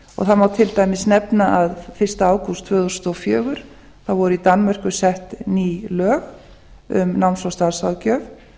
má til dæmis nefna að fyrsta ágúst tvö þúsund og fjögur voru í danmörku set ný lög um náms og starfsráðgjöf